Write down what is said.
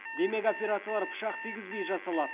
демек операциялар пышақ тигізбей жасалады